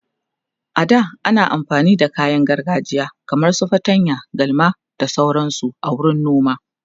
a da ana amfani da kayan gargajiya kaman su fatanya, galma da sauransu a wurin noma.